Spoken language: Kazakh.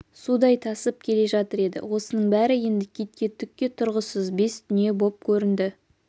судай тасып келе жатыр еді осының бәрі енді китке түкке тұрғысыз бес дүние боп көрінді